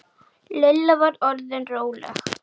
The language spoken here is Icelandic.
Lilla var orðin róleg.